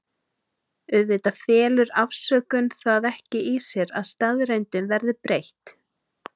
Auðvitað felur afsökun það ekki í sér að staðreyndum verði breytt.